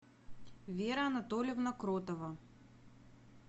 вера анатольевна кротова